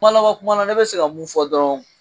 Kuma laban kuma na ne bi se ka mun fɔ dɔrɔn